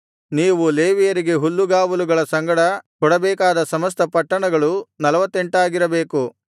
ನೀವು ಲೇವಿಯರಿಗೆ ಹುಲ್ಲುಗಾವಲುಗಳ ಸಂಗಡ ಕೊಡಬೇಕಾದ ಸಮಸ್ತ ಪಟ್ಟಣಗಳು ನಲ್ವತ್ತೆಂಟಾಗಿರಬೇಕು